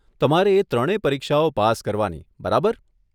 તમારે એ ત્રણે પરીક્ષાઓ પાસ કરવાની, બરાબર?